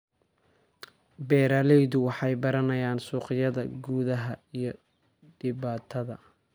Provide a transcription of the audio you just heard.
Beeraleydu waxay baranayaan suuqyada gudaha iyo dibadda.